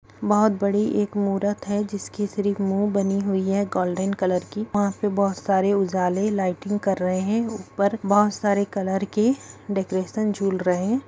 बहुत बड़ी एक मूर्त है जिसकी सिर्फ मुह बनी हुई है गोल्डन कलर की वहा पे बहुत सारे उजाले लैटिंग कर रहे है ऊपर बहुत सारे कलर के डेकोरेशन जुल रह है।